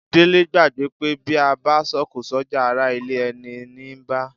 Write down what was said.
Délé gbàgbé pé bí a bá sọ̀kò sọ́jà ará ilé ẹni ní ń bá